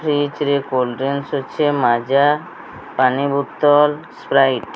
ଫିଜ ରେ କୋଲ୍ଡଡ୍ରିଙ୍କ ଅଛି ମାଜା ପାଣି ବୋତଲ ସ୍ପାରାଇଟ ।